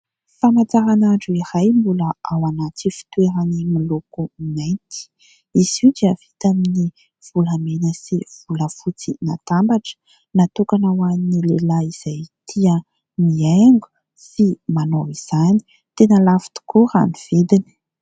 Famantaranandro iray, mbola ao anaty fitoerany moloko mainty. Izy io dia vita amin'ny volamena sy volafotsy natambatra, natokana ho an'ny lehilahy izay tia miaingo sy manao izany. Tena lafo tokoa raha ny vidiny.